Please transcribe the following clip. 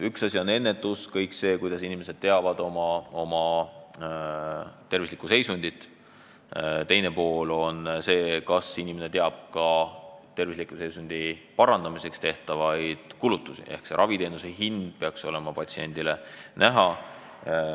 Üks asi on ennetus, see, mida inimesed teavad oma tervisliku seisundi kohta, teine asi on see, kas inimene teab ka tema tervisliku seisundi parandamiseks tehtavaid kulutusi ehk raviteenuse hind peaks olema patsiendile näha.